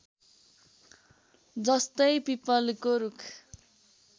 जस्तै पिपलको रुख